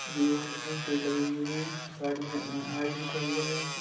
लोग दिख रहे हैं पेड़ लगे हुए दिख रहे हैं साइड में हाईवे निकला हुआ है यहां से।